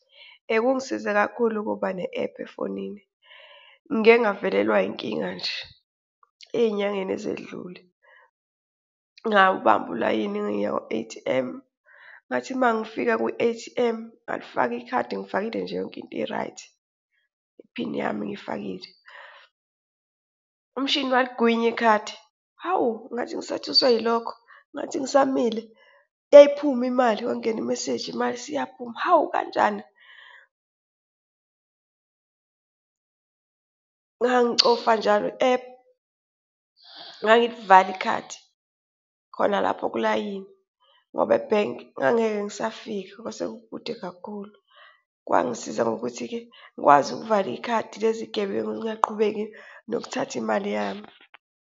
Kungisize kakhulu ukuba ne-ephu efonini. Ngike ngavelelwa inkinga nje ey'nyangeni ezedlule, ngawubambu ulayini ngiya kwi-A_T_M ngathi uma ngifika kwi-A_T_M ngalifaka ikhadi ngifakile nje yonke into i-right iphini yami ngiyifakile, umshini waligwinya ikhadi. Hawu! Ngathi ngisathuswe yilokho, ngathi ngisamile yayiphuma imali kwangena imeseji imali siyaphuma. Hawu! Kanjani? Ngangicofa njalo i-ephu ngangilivala ikhadi khona lapho kulayini ngoba ebhenki ngangeke ngisafika, kwase kukude kakhulu. Kwangisiza ngokuthi-ke ngikwazi ukuvala ikhadi lezi zigebengu zingaqhubeki nokuthatha imali yami.